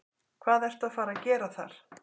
Hvað ertu að fara að gera þar?